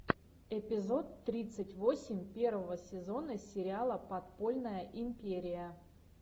эпизод тридцать восемь первого сезона сериала подпольная империя